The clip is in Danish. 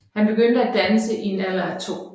Han begyndte at danse i en alder af to